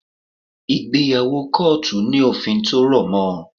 Ìgbéyàwó kọ́ọ̀tù ní òfin tí ó rọ̀ mọ́